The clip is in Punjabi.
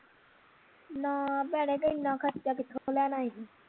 ਨਾਂ ਭੈਣੇ ਤੇ ਇੰਨਾਂ ਖਰਚਾ ਕਿਥੋਂ ਲੈਣਾ ਹੀ